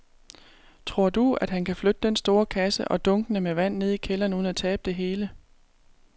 Tror du, at han kan flytte den store kasse og dunkene med vand ned i kælderen uden at tabe det hele?